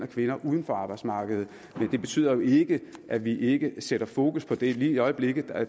kvinder uden for arbejdsmarkedet det betyder ikke at vi ikke sætter fokus på det lige i øjeblikket er